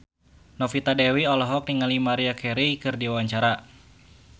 Novita Dewi olohok ningali Maria Carey keur diwawancara